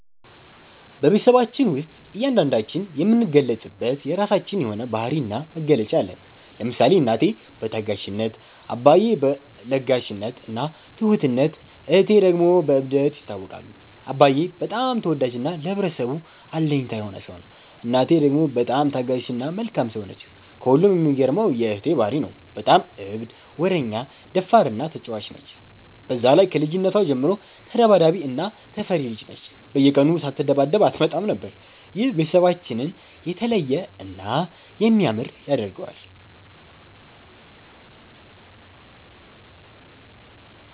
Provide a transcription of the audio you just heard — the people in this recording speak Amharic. በቤትሰባችን ውስጥ እያንዳንዳችን የምንገለፅበት የራችን የሆነ ባህሪ እና መገለጫ አለን። ለምሳሌ እናቴ በታጋሽነት፣ አባዬ በ ለጋሽነት እና ትሁትነት እህቴ ደግሞ በ እብደት ይታወቃሉ። አባዬ በጣም ተወዳጅ እና ለህብረተሰቡ አለኝታ የሆነ ሰው ነው። እናቴ ደግሞ በጣም ታጋሽ እና መልካም ሰው ነች። ከሁሉም የሚገርመው የ እህቴ ባህሪ ነው። በጣም እብድ፣ ወረኛ፣ ደፋር እና ተጫዋች ነች። በዛ ላይ ከልጅነቷ ጀምሮ ተዳባዳቢ እና ተፈሪ ልጅ ነች፤ በየቀኑ ሳትደባደብ አትመጣም ነበር። ይህ ቤተሰባችንን የተለየ እና የሚያምር ያደርገዋል።